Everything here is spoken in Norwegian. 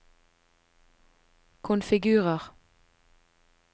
konfigurer